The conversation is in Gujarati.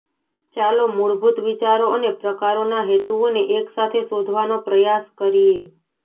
ચાલો મૂળભૂત વિચારો અને પ્રકારોના હેતુઓને એક સાથે શોધવાનો પ્રયાસ કરીએ